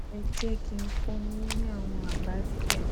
ẹ jẹ kí n fún yín ní àwọn àbá díẹ